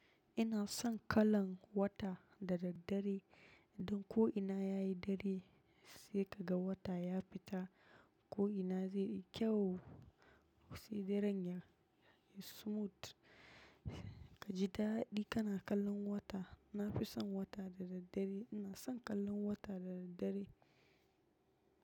Ina son kallan wata da daddare don ko ina yayi dare sai ka ga wata ya fita ko ina zai yi kyau. Sai daren ya yi smooth. Ka ji daɗi kana kallon wata. Na fi son wata da daddare. Ina son kallon wata da daddare.